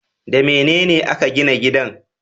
Da mene a ka gina gidan?